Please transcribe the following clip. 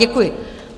Děkuji.